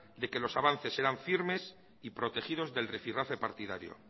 de que los avances serán firmes y protegidos del rifirrafe partidario